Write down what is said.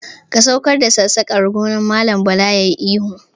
"Ka saukar da sassaƙar, ggone Mallam Bala yayi ihu.